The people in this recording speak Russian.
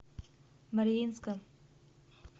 мариинском